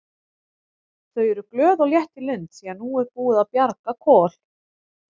Þau eru glöð og létt í lund því að nú er búið að bjarga Kol.